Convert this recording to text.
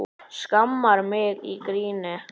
Skammar mig í gríni.